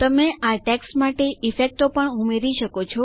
તમે આ ટેક્સ્ટ માટે ઈફેક્ટો પણ ઉમેરી શકો છો